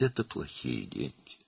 Bu pis puldur.